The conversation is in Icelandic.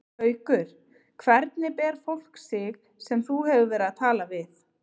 Haukur: Hvernig ber fólk sig sem þú hefur verið að tala við?